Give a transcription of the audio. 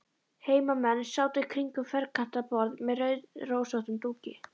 Heimamenn sátu kringum ferkantað borð með rauðrósóttum dúki.